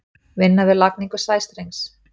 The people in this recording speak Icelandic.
Vinna við lagningu sæstrengs.